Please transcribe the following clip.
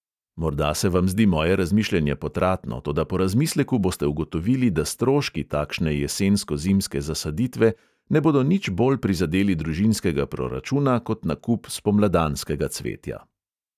Morda se vam zdi moje razmišljanje potratno, toda po razmisleku boste ugotovili, da stroški takšne jesensko-zimske zasaditve ne bodo nič bolj prizadeli družinskega proračuna kot nakup spomladanskega cvetja.